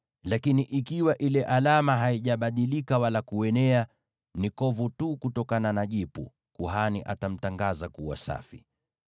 Lakini ikiwa ile alama haijabadilika wala kuenea, ni kovu tu kutokana na jipu, kuhani atamtangaza kuwa safi.